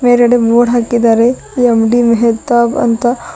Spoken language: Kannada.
ಮೇಲ್ಗಡೆ ಬೋರ್ಡ್ ಹಾಕಿದ್ದಾರೆ ಎಂ_ಡಿ ಮೆಹತಬ್ ಅಂತ.